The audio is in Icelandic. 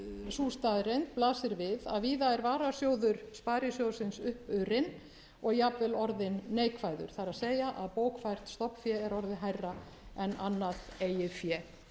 sú staðreynd blasir við að víða er varasjóður sparisjóðsins uppurinn og jafnvel orðinn neikvæður það er að bókfært stofnfé er orðið hærra en annað eigið fé